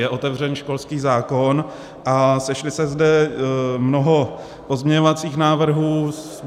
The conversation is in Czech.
Je otevřen školský zákon a sešlo se zde mnoho pozměňovacích návrhů.